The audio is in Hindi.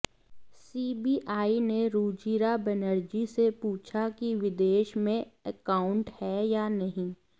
सीबीआई ने रुजिरा बनर्जी से पूछा कि विदेश में एकाउंट है या नहीं